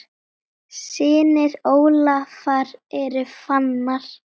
Synir Ólafar eru Fannar.